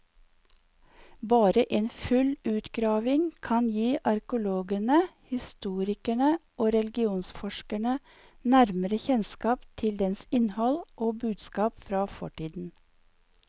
Bare en full utgravning kan gi arkeologene, historikere og religionsforskere nærmere kjennskap til dens innhold og budskap fra fortiden.